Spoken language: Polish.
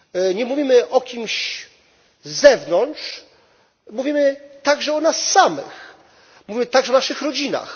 Nie mówimy o kimś z zewnątrz, mówimy także o nas samych, mówimy także o naszych rodzinach.